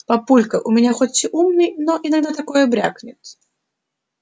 папулька у меня хоть и умный но иногда такое брякнет